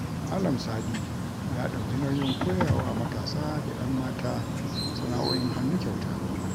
Malan Sadi ya dauki nauyin koyawa matasa da yan mata sana'o'in hannu kyauta